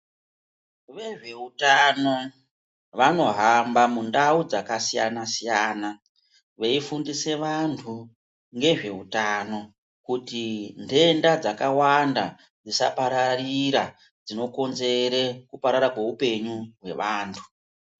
Vezveutano vanohamba mundau dzakasiyana siyana veifundise vantu ngezveutano kuti nhenda dzakawanda dzisapararira dzinokonzere kuparara kweupenyu hwevantu.